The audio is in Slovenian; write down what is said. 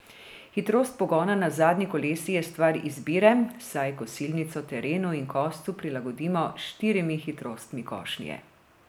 Hitrost pogona na zadnji kolesi je stvar izbire, saj kosilnico terenu in koscu prilagodimo s štirimi hitrostmi košnje.